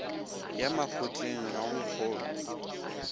ya makgotleng ga o nkgolwe